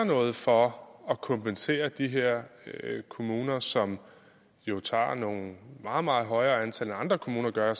noget for at kompensere de her kommuner som jo tager nogle meget meget højere antal end andre kommuner gør